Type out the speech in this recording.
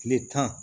Tile tan